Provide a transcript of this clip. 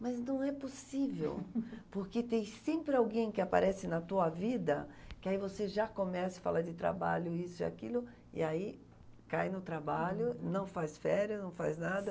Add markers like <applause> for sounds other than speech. Mas então não é possível, <laughs> porque tem sempre alguém que aparece na tua vida que aí você já começa a falar de trabalho, isso e aquilo, e aí cai no trabalho, não faz férias, não faz nada.